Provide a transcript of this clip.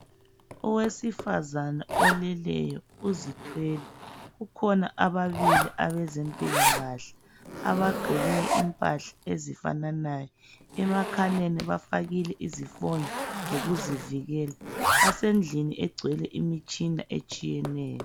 Owesifazana oleleyo uzithwele. Kukhona ababili abezempilakahle abagqoke impahla ezifananayo, emakhaleni bafakile izifonyo zokuzivikela. Basendlini egcwele imitshina etshiyeneyo.